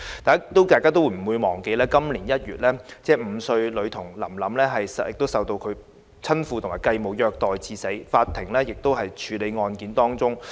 大家都不會忘記在今年1月 ，5 歲女童臨臨受到親父及繼母虐待至死，法庭案件仍在處理當中。